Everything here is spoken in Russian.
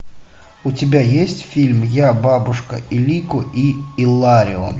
у тебя есть фильм я бабушка илико и илларион